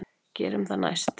Gerum það næst.